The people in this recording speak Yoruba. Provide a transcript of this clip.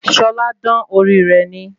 Ṣọlá dán orí rè ni